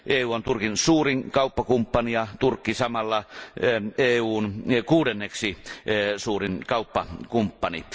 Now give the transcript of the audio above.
EU on Turkin suurin kauppakumppani ja Turkki samalla EUn kuudenneksi suurin kauppakumppani.